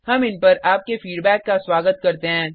हम इन पर आपके फीडबैक का स्वागत करते हैं